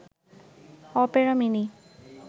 Opera mini